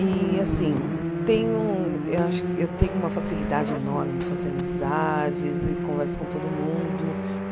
E assim tenho eh acho eu uma facilidade enorme em fazer amizades e converso com todo mundo.